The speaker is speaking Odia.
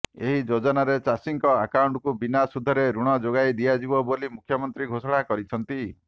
ଏହି ଯୋଜନାରେ ଚାଷୀଙ୍କ ଆକାଉଣ୍ଟକୁ ବିନା ସୁଧରେ ଋଣ ଯୋଗାଇ ଦିଆଯିବ ବୋଲି ମୁଖ୍ୟମନ୍ତ୍ରୀ ଘୋଷଣା କରିଛନ୍ତି